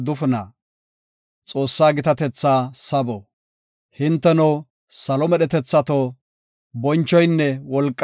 Hinteno salo medhetethato, bonchoynne wolqay Godaasa giite.